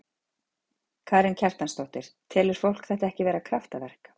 Karen Kjartansdóttir: Telur fólk þetta ekki vera kraftaverk?